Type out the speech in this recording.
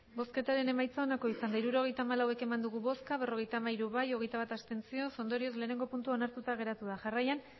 hirurogeita hamalau eman dugu bozka berrogeita hamairu bai hogeita bat abstentzio ondorioz lehenengo puntua onartuta geratu da jarraian